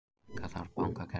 Minnka þarf bankakerfið